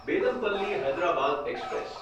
Bellampalli Hyderabad express